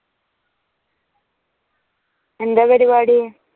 എന്താ പരിപാടി?